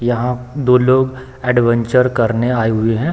यहाँ दो लोग एडवेंचर करने आए हुए हैं।